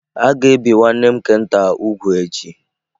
A ga-ebi nwanne m nke nta úgwù echi.